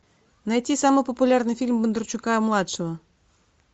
найти самый популярный фильм бондарчука младшего